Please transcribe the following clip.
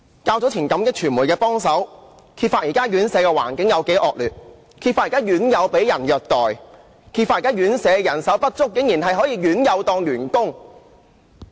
較早前，感激傳媒的幫忙，揭發現時院舍的環境多麼惡劣、院友被虐待、因人手不足而讓院友當員工。